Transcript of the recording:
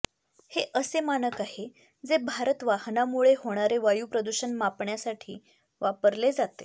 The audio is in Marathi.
हे असे मानक आहे जे भारत वाहनामुळे होणारे वायू प्रदूषण मापण्यासाठी वापरले जाते